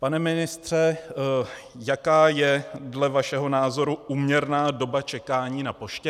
Pane ministře, jaká je dle vašeho názoru úměrná doba čekání na poště?